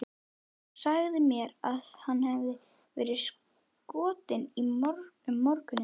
Þú sagðir mér að hann hefði verið skotinn um morguninn.